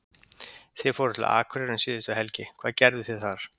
Þið fóruð til Akureyrar um síðustu helgi, hvað gerðuð þið þar?